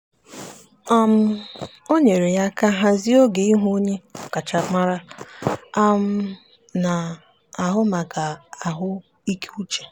um o nyeere ya aka hazie oge ịhụ onye ọkachamara na-ahụ maka ahụikeuche.